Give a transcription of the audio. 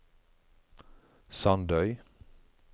Sandøy